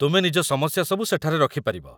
ତୁମେ ନିଜ ସମସ୍ୟା ସବୁ ସେଠାରେ ରଖିପାରିବ